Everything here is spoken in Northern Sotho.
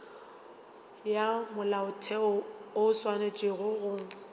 ya molaotheo o swanetše go